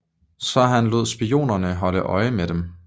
Så han lod spioner holde øje med dem